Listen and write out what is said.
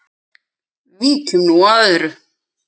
Víkjum nú að öðru.